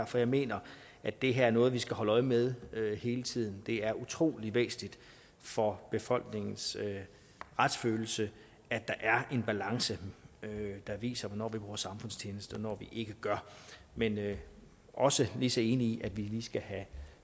for jeg mener at det her er noget vi skal holde øje med hele tiden det er utrolig væsentligt for befolkningens retsfølelse at der er en balance der viser hvornår vi bruger samfundstjeneste og hvornår vi ikke gør men jeg er også lige så enig i at vi lige skal have